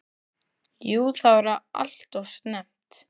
Jú það var alltof snemmt.